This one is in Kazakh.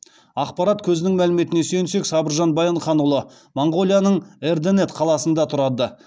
ақпарат көзінің мәліметіне сүйенсек сабыржан баянханұлы моңғолияның эрдэнэт қаласында тұрады